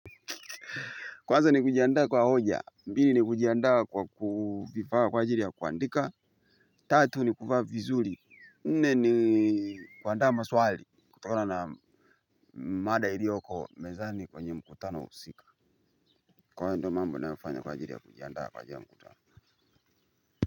Kwanza ni kujiandaa kwa hoja, pili ni kujiandaa kwa kuvifaa kwa ajiri ya kuandika, tatu ni kuvaa vizuri, nne ni kuandaa maswali, kutokona na mada ilioko mezani kwenye mkutana husika, kwa hayo ndo mambo nayoyafanya kwa ajiri ya kujiandaa kwa ajiri ya mkutano.